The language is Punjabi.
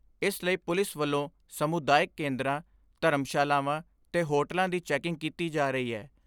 ਇਸ ਲਈ ਪੁਲਿਸ ਵੱਲੋਂ ਸਮੁਦਾਇਕ ਕੇਂਦਰਾਂ, ਧਰਮਸ਼ਾਲਾਵਾਂ ਤੇ ਹੋਟਲਾਂ ਦੀ ਚੈਂਕਿੰਗ ਕੀਤੀ ਜਾ ਰਹੀ ਐ।